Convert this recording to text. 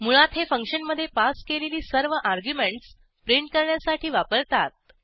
मुळात हे फंक्शनमधे पास केलेली सर्व अर्ग्युमेंटस प्रिंट करण्यासाठी वापरतात